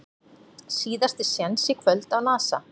Síðasti séns í kvöld á Nasa